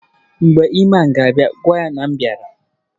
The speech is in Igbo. Mgbe Iman ga-a pụta gwa ya na m bịara